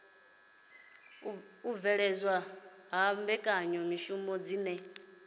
u bveledzwa ha mbekanyamishumo dzine